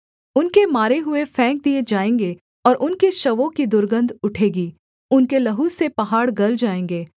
उनके मारे हुए फेंक दिये जाएँगे और उनके शवों की दुर्गन्ध उठेगी उनके लहू से पहाड़ गल जाएँगे